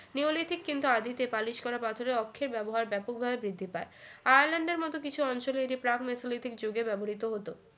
neolithic কিন্তু আদিতে polish করা পাথরে অক্ষে ব্যবহার ব্যাপকভাবে বৃদ্ধি পায় আয়ারল্যান্ডের মতো কিছু অঞ্চলে এটি প্রাগ নিওলিথিক যুগে ব্যবহৃত হতো